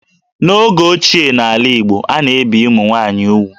N'oge ochie n'ala Igbo, a na-ebì ụmụ nwaanyị úgwù